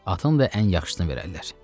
Atın da ən yaxşısını verərlər.